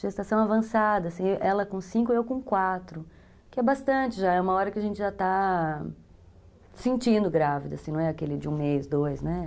Gestação avançada, assim, ela com cinco e eu com quatro, que é bastante já, é uma hora que a gente já está se sentindo grávida, assim, não é aquele de um mês, dois, né?